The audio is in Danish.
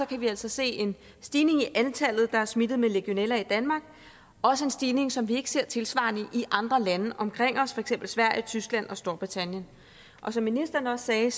kan vi altså se en stigning i antallet af smittede med legionella i danmark også en stigning som vi ikke ser tilsvarende i andre lande omkring os for eksempel sverige tyskland og storbritannien og som ministeren også sagde